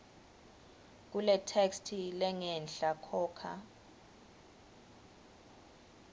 kuletheksthi lengenhla khokha